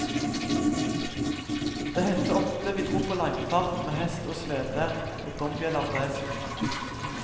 Det hendte ofte vi drog på langfart med hest og slede og dombjeller på hesten.